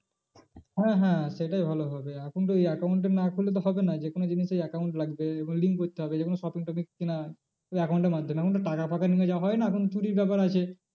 হ্যাঁ হ্যাঁ সেটাই ভালো হবে এখন তো ওই account টা খুললে তো হবে না যে কোনো জিনিসেই account লাগবে এবং link করতে হবে যে কোনো shopping টপিং ওই account এর মাধ্যমে এখন তো টাকা ফাকা নিলে যা হয় না এখন চুরির ব্যাপার আছে